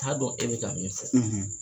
t'a dɔn e bɛ k'a min fɔ.